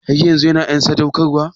Har yanzun ya cikin en sadaukarwa?